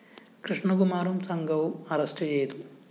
കൃഷ്ണകുമാറും സംഘവും അറസ്റ്റു ചെയ്തു